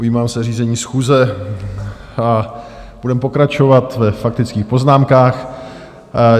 Ujímám se řízení schůze a budeme pokračovat ve faktických poznámkách.